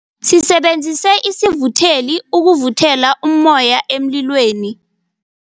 Sisebenzise isivutheli ukuvuthela ummoya emlilweni.